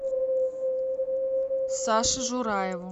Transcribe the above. саше жураеву